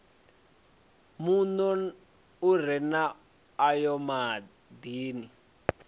muno u re na ayodini